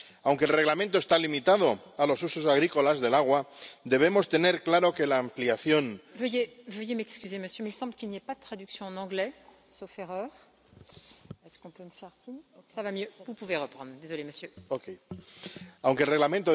Aunque el Reglamento está limitado a los usos agrícolas del agua, debemos tener claro que la